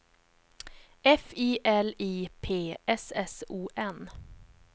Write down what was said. F I L I P S S O N